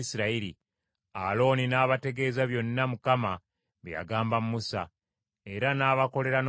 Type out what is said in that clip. Alooni n’abategeeza byonna Mukama bye yagamba Musa; era n’abakolera n’obubonero,